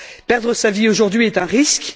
Perdre sa vie aujourd'hui est un risque.